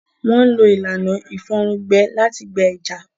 Wọ́n ń lo ìlànà ìfòrùn gbẹ láti gbẹ ẹja.